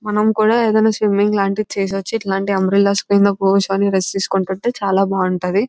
మనము కూడా ఏదైనా స్విమ్మింగ్ లాంటిది చేయొచ్చు ఇట్లాంటి అంబరిల్లా ని కూడా ఉంటే చాలా బాగుంటుంది --